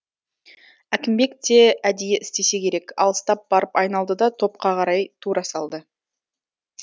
әкімбек те әдейі істесе керек алыстап барып айналды да топқа қарай тура салды